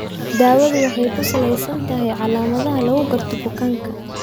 Daawadu waxay ku salaysan tahay calaamadaha lagu garto bukaanka.